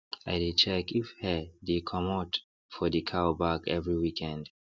i dey check if hair dey commot for the cow back every weekend